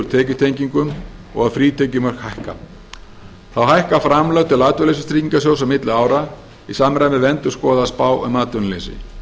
tekjutengingum og að frítekjumörk hækka þá hækka framlög til atvinnuleysistryggingasjóðs á milli ára í samræmi við endurskoðaða spá um atvinnuleysi